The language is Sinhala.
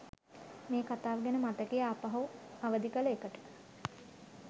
මේ කතාව ගැන මතකය ආපහු අවදි කළ එකට.